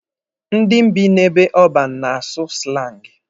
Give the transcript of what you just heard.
Ndị bi n'ebe ọban na-asụ slangi.